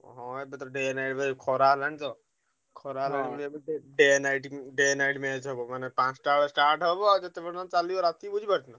ହଁ ଏବେ ତ ଖରା ହେଲାଣି ତ। ଖରା ହେଲାଣି ଏବେ ତ night day night match ହବ ମାନେ ପାଞ୍ଚଟା ବେଳେ start ହବ। ଆଉ ଯେତେ ପର୍ଯ୍ୟନ୍ତ ଚାଲିବ ରାତି ବୁଝିପାରୁଛୁ?